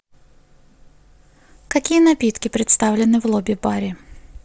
какие напитки представлены в лобби баре